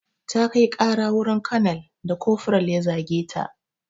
Ta kai ƙara wurin konel da kofural ya zage ta.